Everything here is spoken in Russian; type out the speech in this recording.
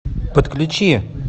подключи